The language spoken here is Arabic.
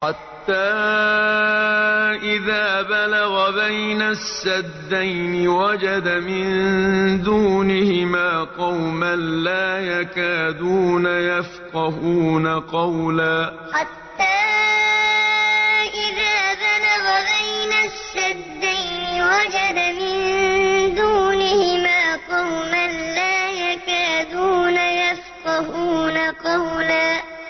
حَتَّىٰ إِذَا بَلَغَ بَيْنَ السَّدَّيْنِ وَجَدَ مِن دُونِهِمَا قَوْمًا لَّا يَكَادُونَ يَفْقَهُونَ قَوْلًا حَتَّىٰ إِذَا بَلَغَ بَيْنَ السَّدَّيْنِ وَجَدَ مِن دُونِهِمَا قَوْمًا لَّا يَكَادُونَ يَفْقَهُونَ قَوْلًا